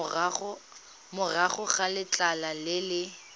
morago ga letlha le le